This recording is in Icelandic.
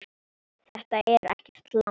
Þetta er ekkert langt.